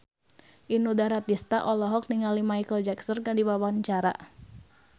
Inul Daratista olohok ningali Micheal Jackson keur diwawancara